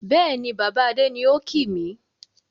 Bẹ́ẹ̀ni, Baba Adé ni ó kìì mi.